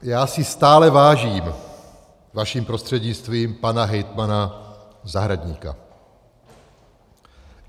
Já si stále vážím vaším prostřednictvím pana hejtmana Zahradníka.